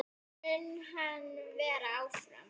Mun hann vera áfram?